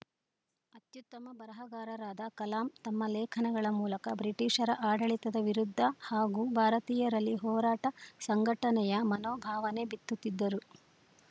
ಅತ್ಯುತ್ತಮ ಬರಹಗಾರರಾದ ಕಲಾಂ ತಮ್ಮ ಲೇಖನಗಳ ಮೂಲಕ ಬ್ರಿಟಿಷರ ಆಡಳಿತದ ವಿರುದ್ಧ ಹಾಗೂ ಭಾರತೀಯರಲ್ಲಿ ಹೋರಾಟ ಸಂಘಟನೆಯ ಮನೋಭಾವನೆ ಬಿತ್ತುತ್ತಿದ್ದರು